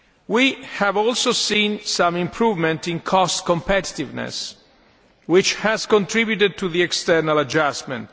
We have also seen some improvement in cost competitiveness, which has contributed to the external adjustment.